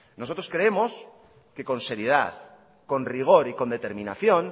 nosotros creemos que con seriedad con rigor y con determinación